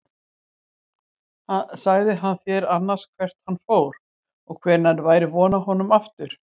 Sagði hann þér annars hvert hann fór og hvenær væri von á honum aftur?